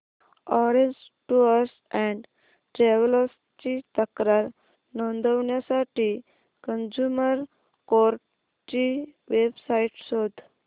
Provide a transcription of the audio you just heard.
orange tours and travels ची तक्रार नोंदवण्यासाठी कंझ्युमर कोर्ट ची वेब साइट शोध